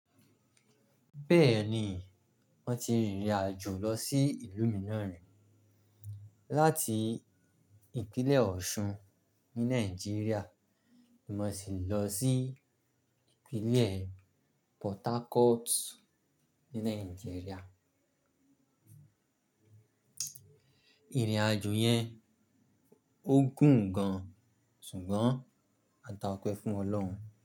Bẹ́ẹ̀ni, mo ti rìnrìn àjò lọ sí ìlú Mìíràn rí, láti ìpínlẹ̀ Ọ̀ṣun ní Nàìjíríà, mo sì lọ sí ìpínlẹ̀ Port Harcourt ní Nàìjíríà. Ìrìn àjò yẹn ó gùn gan, ṣùgbọ́n a ta ọ̀pẹ fún Ọlọ́run.